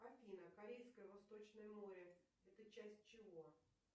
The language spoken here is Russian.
афина корейское восточное море это часть чего